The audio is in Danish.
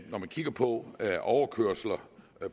man kigger på overkørsler